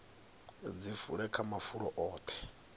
dzi fule kha mafulo oṱhe